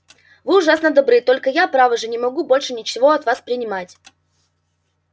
вы ужасно добры только я право же не могу больше ничего от вас принимать